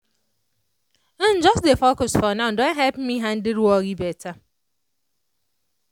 um just dey focus for now don help me handle worry better.